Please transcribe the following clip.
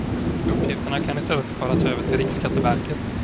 Uppgifterna kan i stället föras över till riksskatteverket.